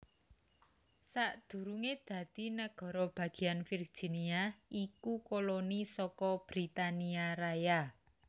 Sadurungé dadi nagara bagéyan Virginia iku koloni saka Britania Raya